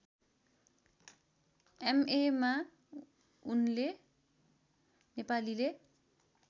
एमएमा उनले नेपालीले